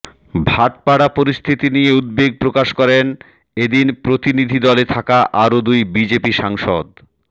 ভাটপাড়ার পরিস্থিতি নিয়ে উদ্বেগ প্রকাশ করেন এদিন প্রতিনিধিদলে থাকা আরও দুই বিজেপি সাংসদ